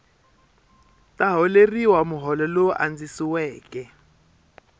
ta holeriwa muholo lowu andzisiweke